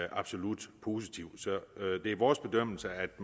absolut positivt så det er vores bedømmelse at